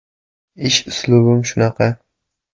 Ish uslubim shunaqa.